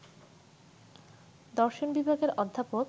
দর্শন বিভাগের অধ্যাপক